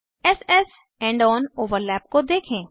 s s end on overlap को देखें